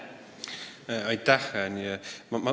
Aitäh!